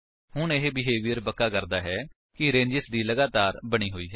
ਹੁਣ ਇਹ ਬੇਹੇਵੀਅਰ ਪੱਕਾ ਕਰਦਾ ਹੈ ਕਿ ਰੇਂਜੇਸ ਦੀ ਲਗਾਤਾਰ ਬਣੀ ਹੋਈ ਹੈ